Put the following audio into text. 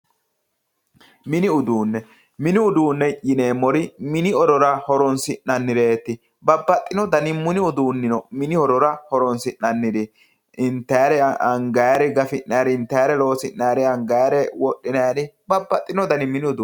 Mini uduune, mini uduune yineemmori mini horora horonsi'nannireti babbaxinohu mini uduuni no, mini horora horonsi'nanniri intannirira anganniri gafi'nanniri intannire loosi'nannirira angannire wodhinannire babbaxinohu mini uduuni no.